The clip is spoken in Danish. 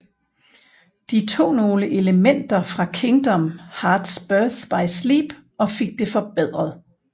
De tog nogle elementer fra Kingdom Hearts Birth by Sleep og fik det forbedret